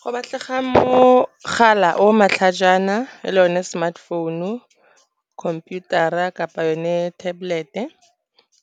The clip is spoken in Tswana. Go batlega mogala o matlhajana le o ne smartphone-u, computer-ra kapa yone tablet-e,